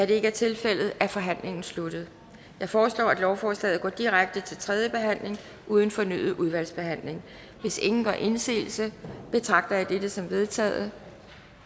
det ikke er tilfældet er forhandlingen sluttet jeg foreslår at lovforslaget går direkte til tredje behandling uden fornyet udvalgsbehandling hvis ingen gør indsigelse betragter jeg dette som vedtaget